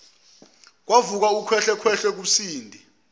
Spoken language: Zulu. kwavuka ukhwehlekhwehle kusindi